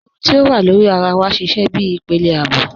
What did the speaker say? Irùn ti o wà lórí àrà wà sísẹ̀ bí ìpélé ààbò